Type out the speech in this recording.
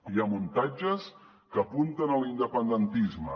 hi ha muntatges que apunten a l’independentisme